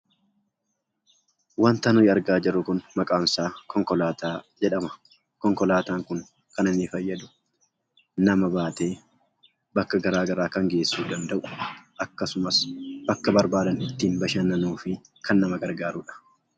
Wanta nuyi argaa jirru kun maqaansaa konkolaataa jedhama. Konkolaataan kun kan inni fayyadu nama baatee bakka garagaraa kan geessuu danda'udha. Akkasumas, bakka barbaadan ittiin bashannanuufi kan nama gargaarudha.